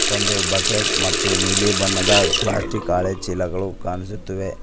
ಒಂದು ಬಕೆಟ್ ಮತ್ತು ನೀಲಿ ಬಣ್ಣದ ಪ್ಲಾಸ್ಟಿಕ್ ಅಲೆ ಚೀಲಗಳು ಇರುತ್ತವೆ.